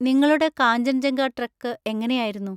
നിങ്ങളുടെ കാഞ്ചൻജംഗ ട്രെക്ക് എങ്ങനെയായിരുന്നു?